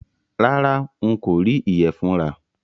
Rárá, n kò rí ìyẹ̀fun rà